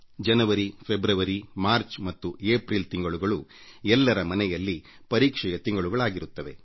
ಜನವರಿ ಫೆಬ್ರವರಿಮಾರ್ಚ್ ಮತ್ತು ಏಪ್ರಿಲ್ ತಿಂಗಳುಗಳು ಎಲ್ಲರ ಮನೆಯಲ್ಲೂ ತೀವ್ರ ಪರೀಕ್ಷೆಯ ತಿಂಗಳುಗಳಾಗಿರುತ್ತವೆ